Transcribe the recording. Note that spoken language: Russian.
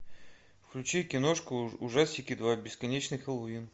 включи киношку ужастики два бесконечный хэллоуин